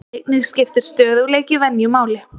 Einnig skiptir stöðugleiki venju máli.